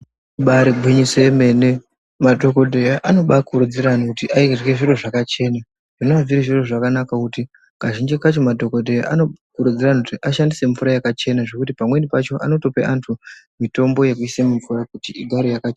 Ibari gwinyiso yemene madhokodheya anobaa kurudzire antu kuti arye zviro zvakachena zvinove zviri zviro zvakanaka kuti kazhinji kacho madhokodheya anokurudzira antu kuti ashandise mvura yakachena zvekuti pamweni pacho anotoPe antu mitombo yekuise mumvura kuti igare yakachena.